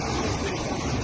Çəkmək lazımdır.